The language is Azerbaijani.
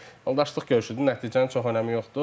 Yəni yoldaşlıq görüşüdür, nəticənin çox önəmi yoxdur.